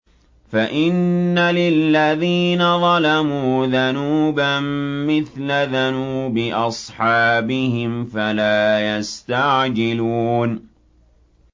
فَإِنَّ لِلَّذِينَ ظَلَمُوا ذَنُوبًا مِّثْلَ ذَنُوبِ أَصْحَابِهِمْ فَلَا يَسْتَعْجِلُونِ